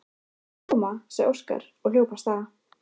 Við skulum koma, sagði Óskar og hljóp af stað.